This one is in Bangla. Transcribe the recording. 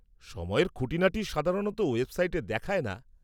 -সময়ের খুঁটিনাটি সাধারণত ওয়েবসাইটে দেখায় না।